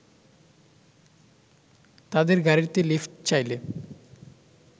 তাদের গাড়িতে লিফ্ট চাইলে